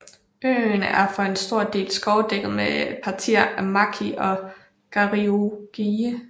Øen er for en stor del skovdækket med partier af maki og garigue